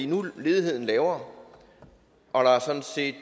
nu er ledigheden lavere og der er sådan set